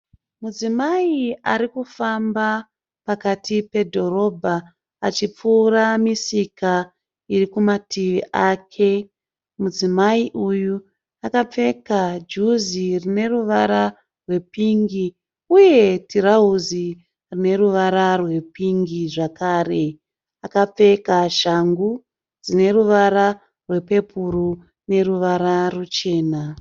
Mudzimai arikufamba pakati pedhorobha achipfuura misika irikumativi ake. Mudzimai uyu akapfeka juzi rine ruvara rwepingi uye tirauzi rine ruvara rwepingi zvakare. Akapfeka shangu dzine ruvara rwepepuru neruvara ruchena.